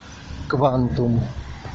квантум